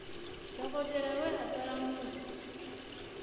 dokotela we a ṱola muiti